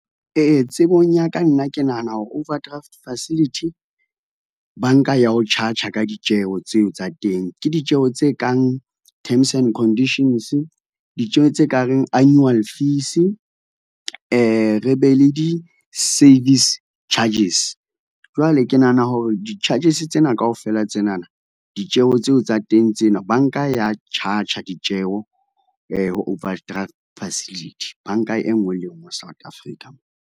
Ee, tsebong ya ka nna ke nahana hore overdraft facility, banka ya ho charge-a ka ditjeho tseo tsa teng. Ke ditjeho tse kang Terms and Conditions, ditjeho tse ka reng annual fee, re be le di-service charges. Jwale ke nahana hore di charges tsena kaofela tsenana ditjeho tseo tsa teng tsena bank a ya charge a ditjeho overdraft facility. Banka e nngwe le nngwe South Africa.